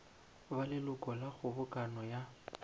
ba leloko la kgobokano ya